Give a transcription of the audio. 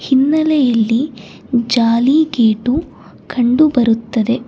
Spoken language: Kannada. ಹಿನ್ನಲೆಯಲ್ಲಿ ಜಾಲಿ ಗೇಟು ಕಂಡು ಬರುತ್ತದೆ.